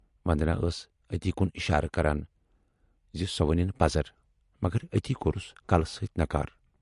وندنا ٲس اَتی کُن اِشارٕ کران زِ سۅ ونٕنۍ پَزر، مگر اَتی کورُس کلہٕ سۭتۍ نکار۔